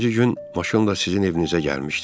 İkinci gün maşınla sizin evinizə gəlmişdim.